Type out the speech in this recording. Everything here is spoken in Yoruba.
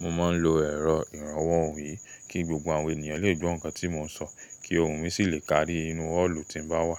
mo máa ń lo ẹ̀rọ ìrànwọ́ ohùn yìí kí gbogbo àwọn ènìyàn lè gbọ́ nǹkan tí mò ń sọ kí ohùn mi sì lè kárí ínú ọ́ọ̀lù tí mo bá wà.